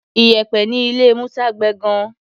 Iyẹ̀pẹ̀ ní ilé Musa gbẹ gan-an.